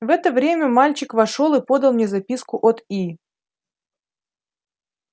в это время мальчик вошёл и подал мне записку от и